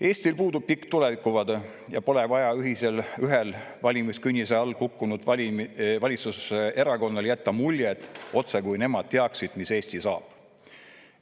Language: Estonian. Eestil puudub pikk tulevikuvaade ja pole vaja ühel valimiskünnise alla kukkunud valitsuserakonnal jätta muljet, otsekui nemad teaksid, mis Eestist saab.